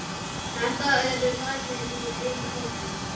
Þetta er dæmi úr einum hópnum